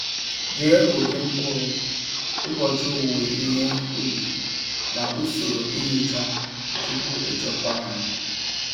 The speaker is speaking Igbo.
Dee ụdị mkpụrụ, ụbọchị owuwe ihe ubi, na usoro ihicha tupu echekwa ha.